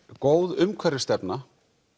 góð umhverfisstefna